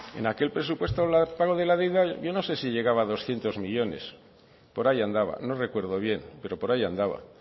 en aquel presupuesto el pago de la deuda yo no sé si llegaba a doscientos millónes por ahí andaba no recuerdo bien pero por ahí andaba